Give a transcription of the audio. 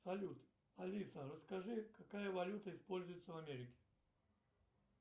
салют алиса расскажи какая валюта используется в америке